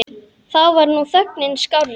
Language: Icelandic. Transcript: Þá var nú þögnin skárri.